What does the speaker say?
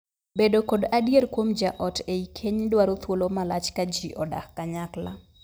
Bedo kod adier kuom jaot ei keny dwaro thuolo malach ka jii odak kanyakla.